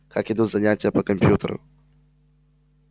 как идут занятия по компьютеру